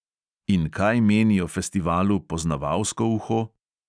In kaj meni o festivalu poznavalsko uho?